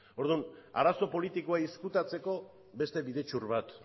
orduan arazo politikoa ezkutatzeko beste bidetxur bat